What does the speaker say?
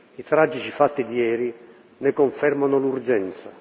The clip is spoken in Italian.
I tragici fatti di ieri ne confermano l'urgenza.